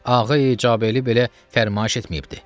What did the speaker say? Ağay-i Caberli belə fərmayiş etməyibdir.